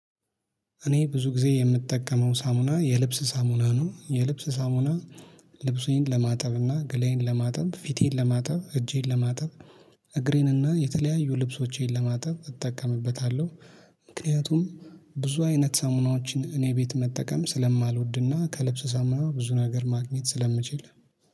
እኔ ብዙ ጊዜ የምጠቀመው ሳሙና የልብስ ሳሙና ነው የልብስ ሳሙና ልብሱን ለማጠብ እና ገላዬን ለማጠብ ፊቴን ለማጠብ እጄን ለማጠብ እግሬን እና የተለያዩ ልብሶቼን ለማጠብ እጠቀምበታለሁ። ምክንያቱም ብዙ አይነት ሳሙናዎችን እኔ ቤት መጠቀም ስለማልወድና ከልብስ ሳምና ብዙ ነገር ማግኘት ስለምችል